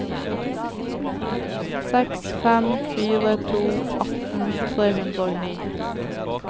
seks fem fire to atten tre hundre og ni